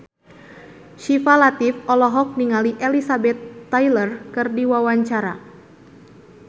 Syifa Latief olohok ningali Elizabeth Taylor keur diwawancara